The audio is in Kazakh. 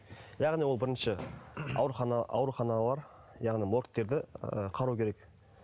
яғни ол бірінші аурухана ауруханалар яғни моргтерді ы қарау керек